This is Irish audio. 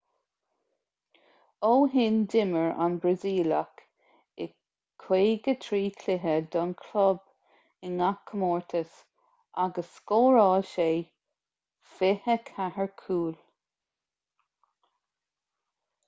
ó shin d'imir an brasaíleach i 53 cluiche don chlub i ngach comórtas agus scóráil sé 24 cúl